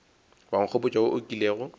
wa nkgopotša wo o kilego